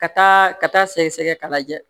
Ka taa ka taa sɛgɛsɛgɛ k'a lajɛ